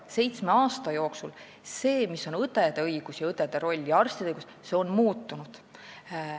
Seitsme aasta jooksul on õdede õigused ja roll ning arstide õigused muutunud.